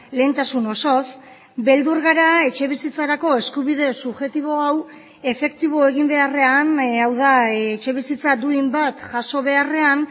lehentasun osoz beldur gara etxebizitzarako eskubide subjektibo hau efektibo egin beharrean hau da etxebizitza duin bat jaso beharrean